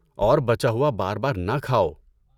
اور بچا ہوا بار بار نہ کھاؤ۔